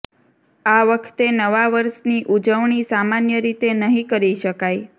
આ વખતે નવા વર્ષની ઉજવણી સામાન્ય રીતે નહીં કરી શકાય